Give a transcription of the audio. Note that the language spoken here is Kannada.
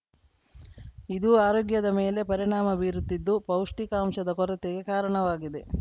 ಇದು ಆರೋಗ್ಯದ ಮೇಲೆ ಪರಿಣಾಮ ಬೀರುತ್ತಿದ್ದು ಪೌಷ್ಟಿಕಾಂಶದ ಕೊರತೆಗೆ ಕಾರಣವಾಗಿವೆ